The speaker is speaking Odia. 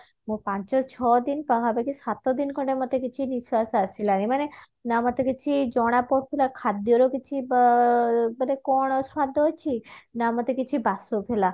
ମୁଁ ପାଞ୍ଚ ଛଅ ଦିନ ସାତ ଦିନ ଖଣ୍ଡେ ମତେ କିଛି ନିଶ୍ଵାସ ଆସିଲାନି ନା ମତେ କିଛି ଜଣାପଡୁଥିଲା ଖାଦ୍ଯର କିଛି ବ ମାନେ କଣ ସ୍ଵାଦ ଅଛି ନା ମତେ କିଛି ବାସୁଥିଲା